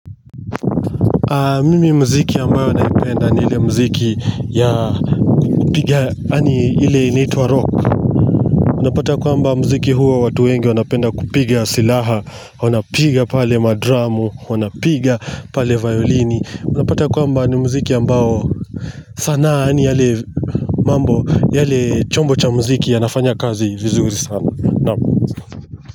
Mimi muziki ambayo naipenda ni ile muziki ya kupiga yaani ile inaitwa rock unapata kwamba muziki huwa watu wengi wanapenda kupiga silaha wanapiga pale madramu wanapiga pale violini unapata kwamba ni muziki ambao sanaa yaani yale mambo yale chombo cha muziki yanafanya kazi vizuri sana naam.